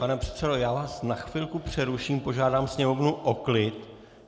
Pane předsedo, já vás na chvilku přeruším, požádám sněmovnu o klid.